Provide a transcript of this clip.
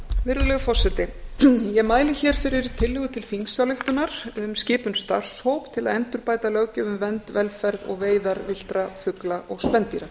virðulegur forseti ég mæli hér fyrir tillögu til þingsályktunar um skipun starfshóps til að endurbæta löggjöf um vernd velferð og veiðar villtra fugla og spendýra